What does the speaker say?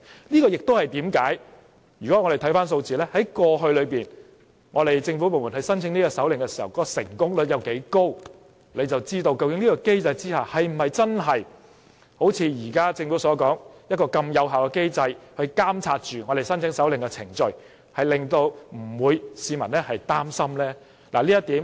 就是這原因，如果我們看到政府部門過去申請搜查令的成功率有多高，大家便知道是否真的如政府所說，這是一個很有效的機制，可以監察申請搜查令的程序，令市民不會擔心。